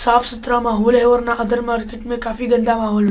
साफ-सुथरा माहौल हैं अदर मार्किट मे बहुत गन्दा मौहोल हैं।